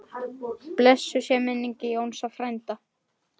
Blessuð sé minning Jónsa frænda.